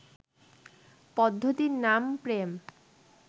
পদ্ধতির নাম প্রেম